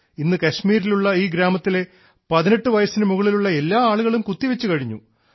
ഇന്ന് കശ്മീരിലുള്ള ഈ ഗ്രാമത്തിലെ 18 വയസ്സിനു മുകളിലുള്ള എല്ലാ ആളുകളും കുത്തിവെച്ചു കഴിഞ്ഞു